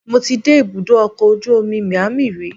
Mo ti dé ibùdó ọkọ̀ ojú omi Miami rí